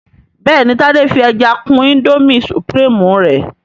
béèni Tade fí ẹja kún Indomie supreme rẹ